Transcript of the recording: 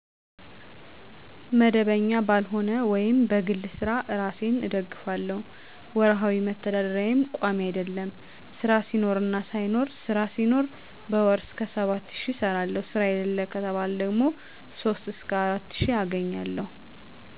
መደበኛ ባልሆነ ወይም በግል ስራ እራሴን እደግፍለሁ። ወርሀዊ መተዳደርያየም ቋሚ አደለም ስራ ሲኖርና ሳይኖር ስራ ሲኖር በወር እስከ 7 ሺ እሰራለሁ ስራ የለም ከተባለ ደግሞ 3 እስከ 4 ሺ አገኛለሁ።